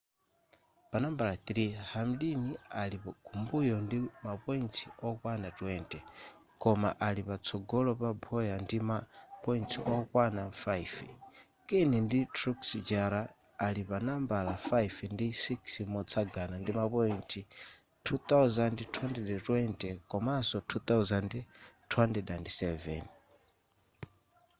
panambala 3 hamlin ali kumbuyo ndi ma points okwana 20 koma ali patsogolo pa bowyer ndi ma points okwana 5 kahne ndi truex jr ali panambala 5 ndi 6 motsagana ndima point 2,220 komanso 2,207